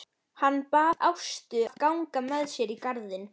Hann bað Ástu að ganga með sér í garðinn.